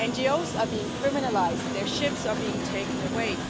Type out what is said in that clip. NGOs are being criminalised and their ships are being taken away.